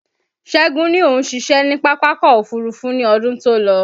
Ṣẹ́gun ní òun ṣiṣẹ́ ni Pápákọ̀ Òfurufú ní ọdún tó lọ